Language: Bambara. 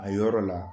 A yɔrɔ la